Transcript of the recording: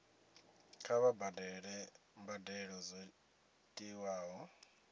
kha vha badele mbadelo dzo tiwaho